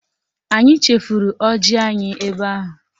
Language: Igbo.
Anyị chefuru ọjị anyị ebe ahụ